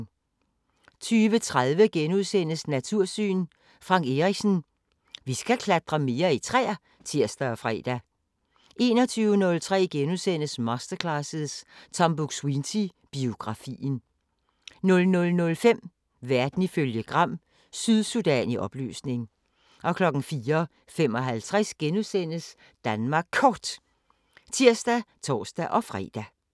20:30: Natursyn: Frank Erichsen: Vi skal klatre mere i træer *(tir og fre) 21:03: Masterclasses – Tom Buk-Swienty: Biografien * 00:05: Verden ifølge Gram: Sydsudan i opløsning 04:55: Danmark Kort *(tir og tor-fre)